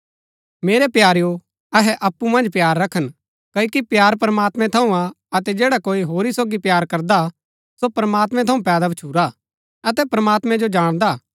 मेरै प्यारेओ अहै अप्पु मन्ज प्‍यार रखन क्ओकि प्‍यार प्रमात्मैं थऊँ हा अतै जैडा कोई होरी सोगी प्‍यार करदा सो प्रमात्मैं थऊँ पैदा भच्छुरा अतै प्रमात्मैं जो जाणदा